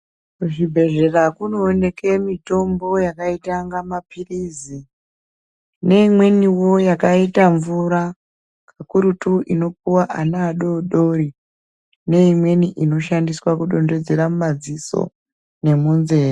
Kuzvibhehlera kunooneke mitombo yaita kunga mapilizi neimweniwo yakaita mvura pakurutu inopuwa ana adodori neimweni inoshandiswa kudondedzera mumadziso nemunzeye.